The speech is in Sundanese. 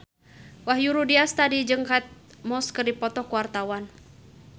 Wahyu Rudi Astadi jeung Kate Moss keur dipoto ku wartawan